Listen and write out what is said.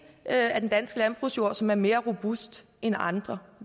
af den danske landbrugsjord som er mere robuste end andre